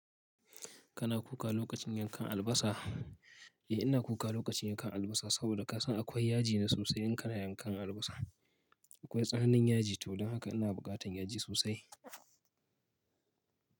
Kana kuka lokacin yankan albasa? Eh ina kuka lokacin yankan albasa, saboda ka san akwai yaji ne sosai in kana yankan albasa. Akwai tsananin yaji, to don haka ina buƙatan yaji sosai.